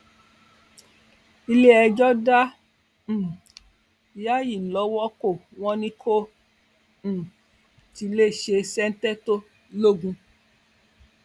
iléẹjọ dá um yáyí lọwọ kó wọn ní kó um tí ì lè ṣe ṣèǹtẹtò logun